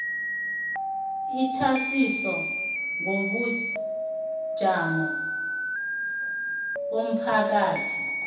ithwasiso ngobujamo bomphakathi